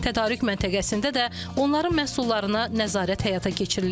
Tədarük məntəqəsində də onların məhsullarına nəzarət həyata keçirilir.